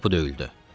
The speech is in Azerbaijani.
Qapı döyüldü.